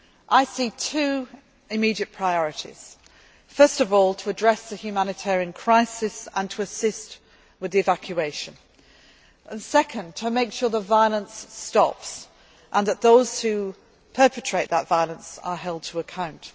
all in Libya. I see two immediate priorities first of all, to address the humanitarian crisis and assist with the evacuation, and second to make sure the violence stops and that those who perpetrate that violence are held